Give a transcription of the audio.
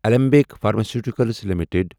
علمبٕکۍ pharmaceuticals limited